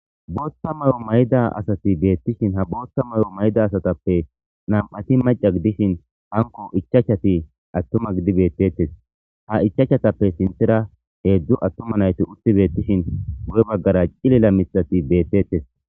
booththa mayo mayda asati beettishin ha boothta may'o mayida asatappe nam'ati maca gidishin hanko ichachati attuma gidi beettettes ha ichachatappe sinthera heedzdzu attuma nayiti utti beettishin guye baggara cilila mithati beettettes